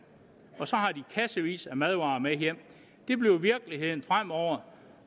og så har de kassevis af madvarer med hjem det bliver virkeligheden fremover